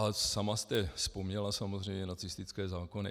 A sama jste vzpomněla samozřejmě nacistické zákony.